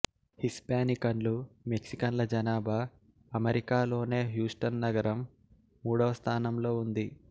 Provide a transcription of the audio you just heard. హిస్పానికన్లు మెక్సికన్ల జనాభా అమెరికాలోనే హ్యూస్టన్ నగరం మూడవస్థానంలో ఉంది